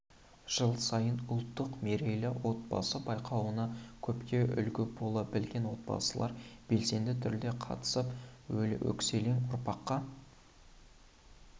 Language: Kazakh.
жыл сайын ұлттық мерейлі отбасы байқауына көпке үлгі бола білген отбасылар белсенді түрде қатысып өскелең ұрпаққа